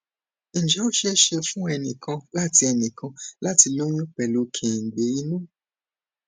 ǹjẹ ó ṣeé ṣe fún ẹnì kan láti ẹnì kan láti lóyún pelu kengbe inu